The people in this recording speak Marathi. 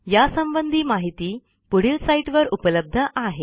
यासंबंधी माहिती पुढील साईटवर उपलब्ध आहे